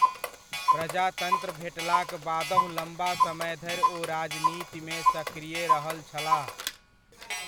प्रजातन्त्र भेटलाक बादहुँ लम्बा समयधरि ओ राजनीतिमे सकृय रहल छलाह।